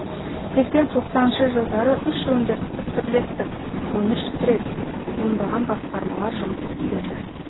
сексен тоқсаныншы жылдары үш өндірістік бірлестік он үш трест ондаған басқармалар жұмыс істеді